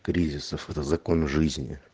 кризисов это закон жизни